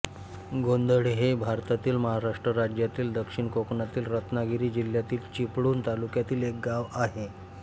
गोंधळे हे भारतातील महाराष्ट्र राज्यातील दक्षिण कोकणातील रत्नागिरी जिल्ह्यातील चिपळूण तालुक्यातील एक गाव आहे